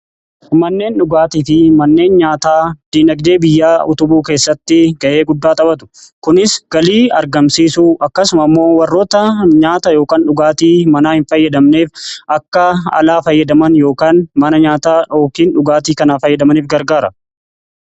manneen dhugaatii fi manneen nyaataa diinagdee biyyaa utubuu keessatti gahee guddaa taphatu. kunis galii argamsiisuu akkasuma immoo warroota nyaata ykn dhugaatii manaa hin fayyadamneef akka alaa fayyadaman yookaan mana nyaataa yookiin dhugaatii kanaa fayyadamaniif gargaara.